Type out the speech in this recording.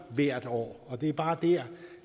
hvert år det er bare der